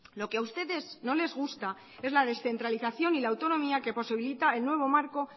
lo que a ustedes no les gusta es la descentralización y la autonomía que posibilita el nuevo marco